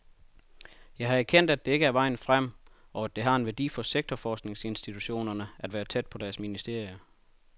Jeg har erkendt, at det ikke er vejen frem, og at det har en værdi for sektorforskningsinstitutionerne at være tæt på deres ministerier.